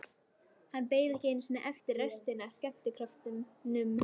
Hann beið ekki einu sinni eftir restinni af skemmtikröftunum.